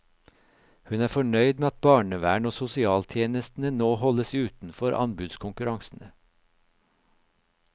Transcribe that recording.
Hun er fornøyd med at barnevernet og sosialtjenestene nå holdes utenfor anbudskonkurransene.